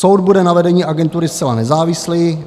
Soud bude na vedení agentury zcela nezávislý.